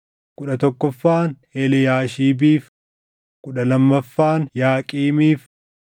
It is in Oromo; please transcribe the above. kudhan tokkoffaan Eliyaashiibiif, kudha lammaffaan Yaaqiimiif,